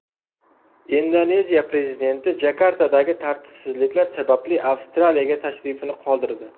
Indoneziya prezidenti Jakartadagi tartibsizliklar sababli Avstraliyaga tashrifini qoldirdi.